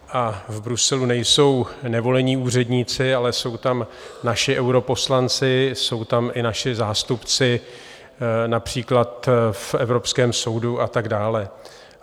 A v Bruselu nejsou nevolení úředníci, ale jsou tam naši europoslanci, jsou tam i naši zástupci například v Evropském soudu a tak dále.